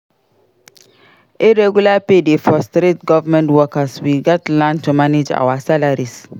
Irregular pay dey frustrate government workers; we gats learn to manage our salaries.